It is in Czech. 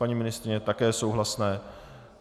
Paní ministryně - také souhlasné.